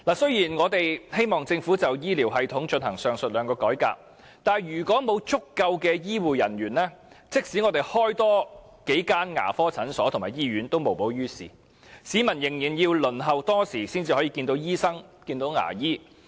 雖然我們希望政府就醫療系統進行上述兩項改革，但如果沒有足夠的醫護人員，即使增設多數間牙科診所和醫院也無補於事，市民仍須輪候多時才能見到醫生和牙醫。